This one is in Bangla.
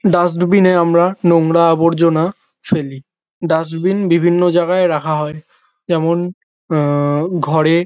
ডাস্টবিন -এ আমরা নোংরা আবর্জনা ফেলি। ডাস্টবিন বিভিন্ন জায়গায় রাখা হয় যেমন আ-আ ঘরে।